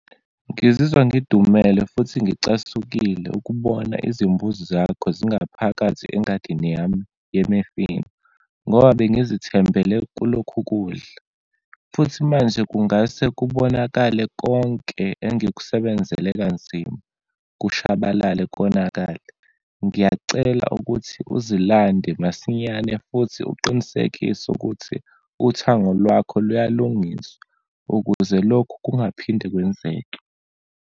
Ngizizwa ngidumele futhi ngicasukile ukubona izimbuzi zakho zingaphakathi engadini yami yemifino, ngoba bengizithembele kulokhu kudla, futhi manje kungase kubonakale konke engikusebenzela kanzima, kushabalale, konakale. Ngiyacela ukuthi uzilande masinyane, futhi uqinisekise ukuthi uthango lwakho kuyalungiswa ukuze lokhu kungaphinde kwenzeke.